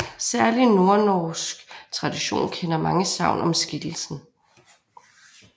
Særlig nordnorsk tradition kender mange sagn om skikkelsen